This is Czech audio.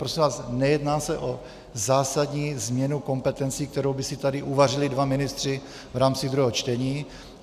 Prosím vás, nejedná se o zásadní změnu kompetencí, kterou by si tady uvařili dva ministři v rámci druhého čtení.